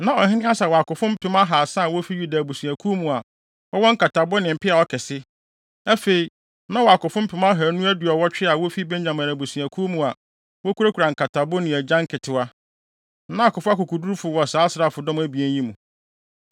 Na ɔhene Asa wɔ akofo mpem ahaasa a wofi Yuda abusuakuw mu a wɔwɔ nkatabo ne mpeaw akɛse. Afei, na ɔwɔ akofo mpem ahannu aduɔwɔtwe a wofi Benyamin abusua mu a wokurakura nkatabo ne agyan nketewa. Na akofo akokodurufo wɔ saa asraafodɔm abien yi mu.